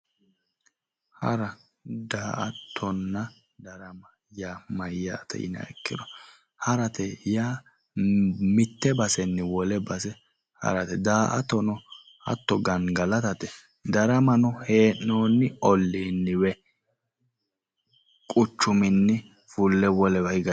Hara, daa'atonna darama yaa mayyate yiniha ikkiro haarate yaa mitte haarate daa'ato hatto gangalatate daramano hee'noonni olliinni woy quchuminni fule wolewa higate